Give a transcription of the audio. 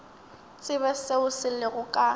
tsebe seo se lego ka